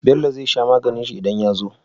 Bello zai sha maganin shi idan yazo?